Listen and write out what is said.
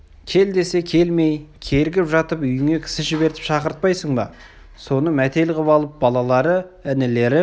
кел десе келмей кергіп жатып үйіңе кісі жібертіп шақыртпайсың ба соны мәтел қып алып балалары інілері